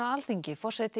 forseti